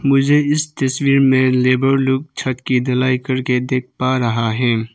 मुझे इस तस्वीर में लेबर लोग छत की ढलाई करके देख पा रहा है।